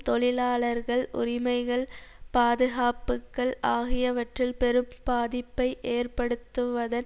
தொழிலாளர்கள் உரிமைகள் பாதுகாப்புக்கள் ஆகியவற்றில் பெரும் பாதிப்பை ஏற்படுத்துவதன்